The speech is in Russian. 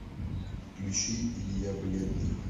включи илья бледный